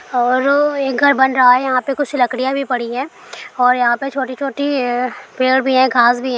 औरो एक घर बन रहा है यहां पे कुछ लकड़ियां भी पड़ी हैं और यहाँ पे छोटी-छोटी य पेड़ भी है घास भी है।